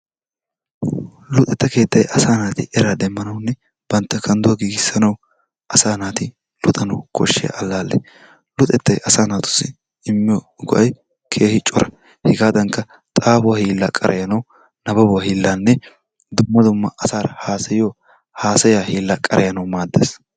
Luxxetta keettay asaa naati eraa demmanawunne bantta kandduwa giigisanawu asaa naati luxxanawu koshshiya alaale. Luxxettay asaa naatussi immiyo go'ay keehii cora. Hegaadankka xaafuwaa hiillaa qarayanawu nababuwaa hiillaanne dumma dumma asaara haasayanawu haasayaa hillaa qarayanawu maaddees.